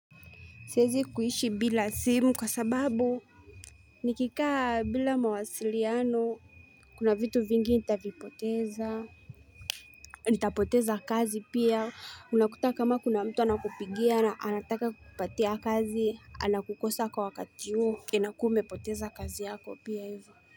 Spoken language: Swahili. Siezi kuishi bila simu kwa sababu. Nikikaa bila mawasiliano. Kuna vitu vingi nitavipoteza. Nitapoteza kazi pia. Unakuta kama kuna mtu anakupigia. Anataka kukupatia kazi. Anakukosa kwa wakati uo. Inakua umepoteza kazi yako pia ivo.